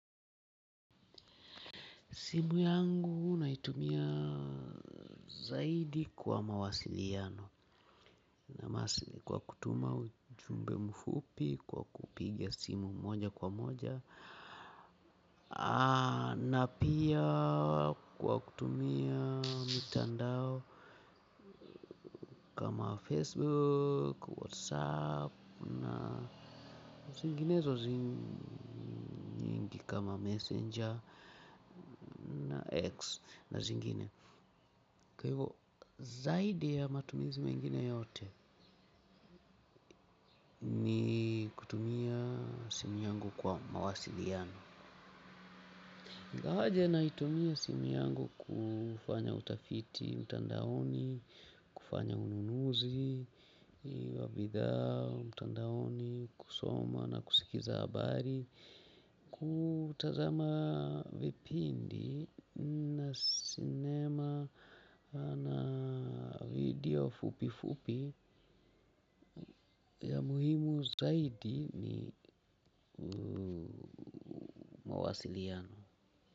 Simu yangu unaitumia zaidi kwa mawasiliano na masili kwa kutuma ujumbe mfupi kwa kupiga simu moja kwa moja. Na pia kwa kutumia mitandao kama Facebook, Whatsapp, na zinginezo zing nyingi kama Messenger na X na zingine. Kwa ivo zaidi ya matumizi mengine yote ni kutumia simu yangu kwa mawasiliano. Ingawaje naitumia simu yangu kufanya utafiti, mtandaoni, kufanya ununuzi, wa bidhaa, mtandaoni, kusoma na kusikiza habari. Kutazama vipindi na sinema na video fupi fupi ya muhimu zaidi ni mawasiliano.